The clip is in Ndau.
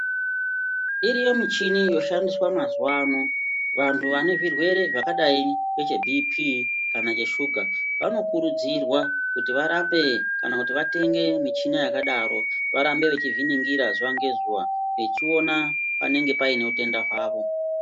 Iriyo michini inoshandiswa mazuvano, vanhu vanezvirwe zvakadai ngeche bhipii, kana ngeshuga, vanokurudzirwa kuti varape kana kuti vatenge michina yakadaro varambe vechizviningira zuva ngezuva vechiona paine utenda hwavo.